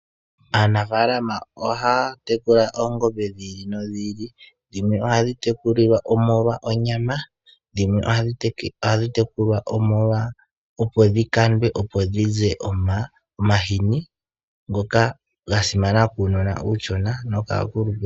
Aanafaalama ohaya tekula oongombe dhili nodhili. Dhimwe ohadhi tekulilwa omolwa onyama. Yimwe ohadhi tekulwa opo dhikandwe opo dhize omahini ngoka gasimana kuunona uushona nokaakulupe.